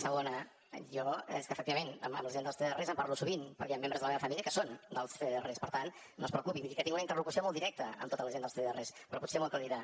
segona jo és que efectivament amb la gent dels cdrs em parlo sovint perquè hi han membres de la meva família que són dels cdrs per tant no es preocupi vull dir que tinc una interlocució molt directa amb tota la gent dels cdrs però potser m’ho aclarirà